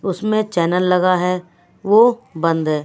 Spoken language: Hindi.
उसमें चैनल लगा है वो बंद है।